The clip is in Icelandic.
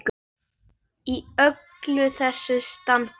Í öllu þessu standi.